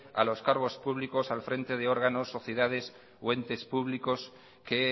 a los cargos públicos al frente de órganos sociedades o entes públicos que